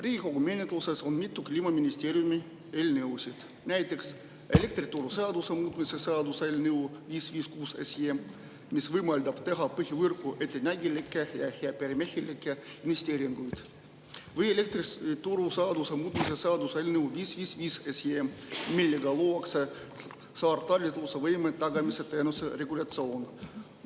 Riigikogu menetluses on mitu Kliimaministeeriumi eelnõu, näiteks elektrituruseaduse muutmise seaduse eelnõu 556, mis teha põhivõrku ettenägelikke ja heaperemehelikke investeeringuid, ja elektrituruseaduse muutmise seaduse eelnõu 555, millega luua saartalitlusvõime tagamise teenuse regulatsioon.